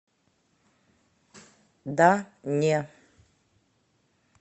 да не